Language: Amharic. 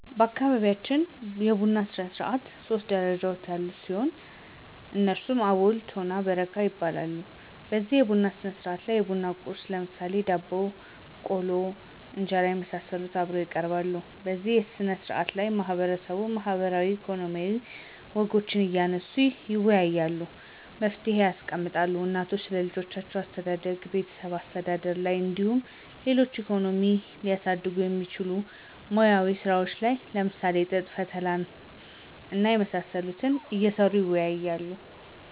በአካባቢያችን የቡና ስርዓት ሶስት ደረጃዎች ያሉት ሲሆን እነሱም አቦል፤ ቶና እና በረካ ይባላሉ። በዚህ የቡና ስነስርዓት ላይ የቡና ቁርስ ለምሳሌ ቆሎ፣ ዳቦ፣ እንጀራና የመሳሰሉት አብረው ይቀርባሉ። በዚህ ስነ ስርዓት ላይ ማህበረሰቡ ማህበራዊ፣ ኢኮኖሚያዊ ወጎችን እያነሱ ይወያያሉ፤ መፍትሔ ያስቀምጣሉ። እናቶች ስለልጆች አስተዳደግና ቤተሰብ አስተዳደር ላይ እንዲሁም ሌሎች ኢኮኖሚን ሊያሳድጉ የሚችሉ ሙያዊ ስራዎችን ለምሳሌ ጥጥ ፈተላ እና የመሳሰሉት እየሰሩ ይወያያሉ።